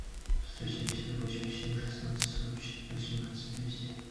сто семьдесят восемь семь шестнадцать сорок четыре восемнадцать двести